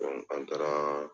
o ni an taara